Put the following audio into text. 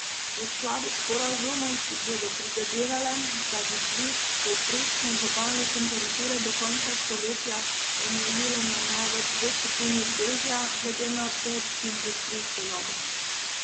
V skladu s sporazumom si bodo prizadevale, da bi dvig povprečne globalne temperature do konca stoletja omejile na največ dve stopinji Celzija glede na predindustrijsko dobo.